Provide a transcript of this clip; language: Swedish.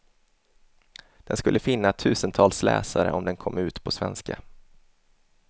Den skulle finna tusentals läsare om den kom ut på svenska.